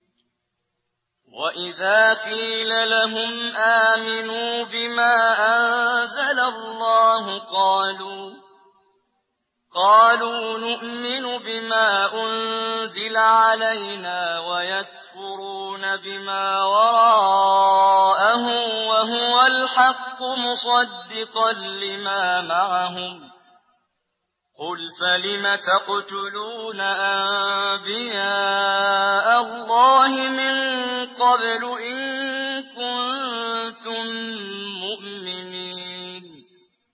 وَإِذَا قِيلَ لَهُمْ آمِنُوا بِمَا أَنزَلَ اللَّهُ قَالُوا نُؤْمِنُ بِمَا أُنزِلَ عَلَيْنَا وَيَكْفُرُونَ بِمَا وَرَاءَهُ وَهُوَ الْحَقُّ مُصَدِّقًا لِّمَا مَعَهُمْ ۗ قُلْ فَلِمَ تَقْتُلُونَ أَنبِيَاءَ اللَّهِ مِن قَبْلُ إِن كُنتُم مُّؤْمِنِينَ